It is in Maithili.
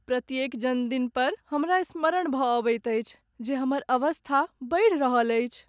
प्रत्येक जन्मदिन पर हमरा स्मरण भऽ अबैत अछि जे हमर अवस्था बढ़ि रहल अछि।